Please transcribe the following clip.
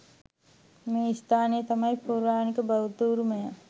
මේ ස්ථානය තමයි පෞරාණික බෞද්ධ උරුමය.